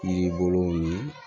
Kiribolow ye